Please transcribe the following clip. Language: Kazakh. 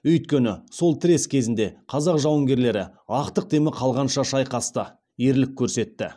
өйткені сол тірес кезінде қазақ жауынгерлері ақтық демі қалғанша шайқасты ерлік көрсетті